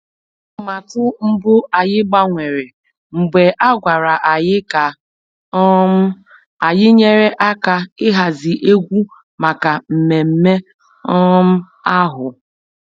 Atụmatụ mbụ anyị gbanwere mgbe a gwara anyị ka um anyị nyere aka ịhazi egwu maka mmemme um ahụ